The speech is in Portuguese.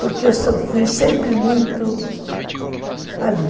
Porque eu fui sempre muito ali.